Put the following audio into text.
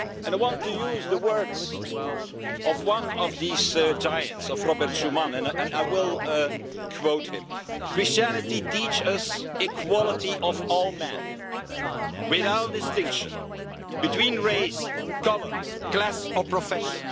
I want to use the words of one of these giants, of Robert Schuman, and I will quote him Christianity teaches us equality of all men without distinction between race, colour, class or profession